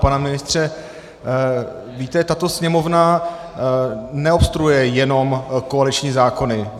Pan ministře, víte, tato Sněmovna neobstruuje jenom koaliční zákony.